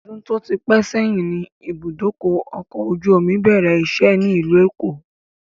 Odun tó ti pẹ sẹ́yìn ni ibùdókọ̀ ọkọ̀ ojú omi bẹ̀rẹ̀ ìṣe ni ilu èkó